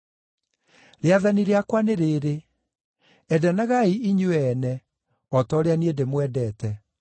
Rĩathani rĩakwa nĩ rĩĩrĩ: Endanagai inyuĩ ene, o ta ũrĩa niĩ ndĩmwendete.